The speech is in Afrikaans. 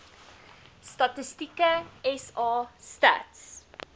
statistieke sa stats